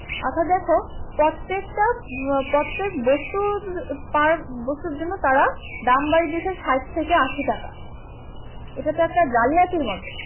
অর্থাৎ দেখো প্রত্যেকটা, প্রত্যেক বস্তুর per বস্তুর জন্য তারা দাম বাড়িয়ে দিয়েছে ষাট থেকে আশি টাকা, এটা তো একটা জালিয়াতির মতো